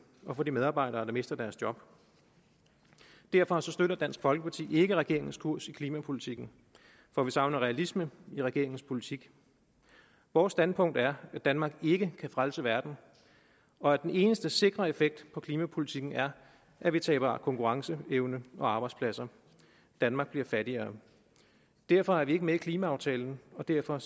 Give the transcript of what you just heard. og for de medarbejdere der mister deres job derfor støtter dansk folkeparti ikke regeringens kurs i klimapolitikken for vi savner realisme i regeringens politik vores standpunkt er at danmark ikke kan frelse verden og at den eneste sikre effekt af klimapolitikken er at vi taber konkurrenceevne og arbejdspladser danmark bliver fattigere derfor er vi ikke med i klimaaftalen og derfor